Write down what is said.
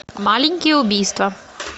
маленькие убийства